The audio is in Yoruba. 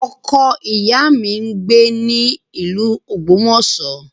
Ọkọ ìyá mi ń gbé ní ìlú Ogbomoso